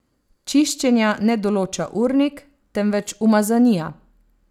Čiščenja ne določa urnik, temveč umazanija.